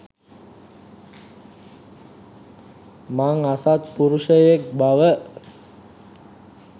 මං අසත්පුරුෂයෙක් බව.